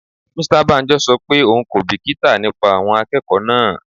Mr Banjo ṣọ pé òun kò bìkítà nípa àwọn akẹ́kọ̀ọ́ náà.